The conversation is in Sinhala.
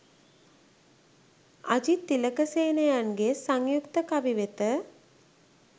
අජිත් තිලකසේනයන්ගේ සංයුක්ත කවි වෙත